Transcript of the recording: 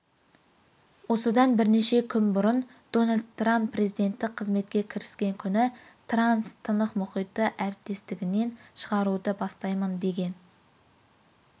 осыдан бірнеше күн бұрын дональд трамп президенттік қызметке кіріскен күні транс-тынық мұхиты әріптестігінен шығаруды бастаймын деген